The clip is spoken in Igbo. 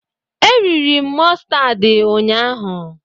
E riri m mụstardị ụnyaahụ